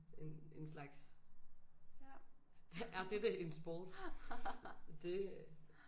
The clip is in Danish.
En en slags er dette en sport det